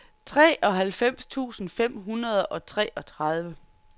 treoghalvfems tusind fem hundrede og treogtredive